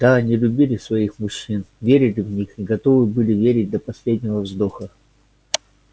да они любили своих мужчин верили в них и готовы были верить до последнего вздоха